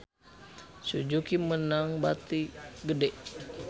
Suzuki meunang bati gede